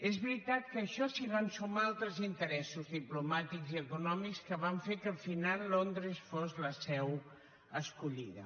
és veritat que a això s’hi van sumar altres interessos diplomàtics i econòmics que van fer que al final londres fos la seu escollida